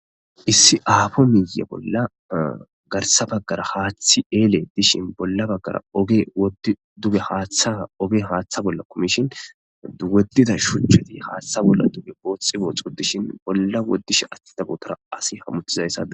issi aafo miiye bolla garsa baggara haaththi eeli dishin bolla baggara detta oge haaththa bolla komishin duwetida shuchcheti haaththa bolla duge booxhxi boohxu dishin bolla woddish attida bootora asi hammuttizayssai